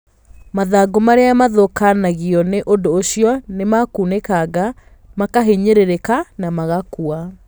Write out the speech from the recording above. Mathangũ marĩa mathũkagio nĩ ũndũ ũcio nĩ makunĩkangĩkaga, makahinyĩrĩrĩka, na magakua.